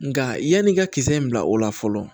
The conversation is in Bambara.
Nka yanni i ka kisɛ in bila o la fɔlɔ